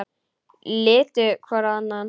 Litu hvor á annan.